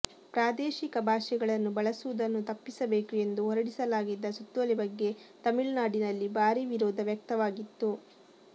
ಪ್ರಾದೇಶಿಕ ಭಾಷೆಗಳನ್ನು ಬಳಸುವುದನ್ನು ತಪ್ಪಿಸಬೇಕು ಎಂದು ಹೊರಡಿಸಲಾಗಿದ್ದ ಸುತ್ತೋಲೆ ಬಗ್ಗೆ ತಮಿಳುನಾಡಿನಲ್ಲಿ ಭಾರೀ ವಿರೋಧ ವ್ಯಕ್ತವಾಗಿತ್ತು